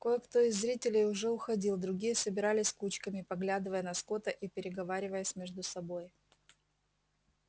кое-кто из зрителей уже уходил другие собирались кучками поглядывая на скотта и переговариваясь между собой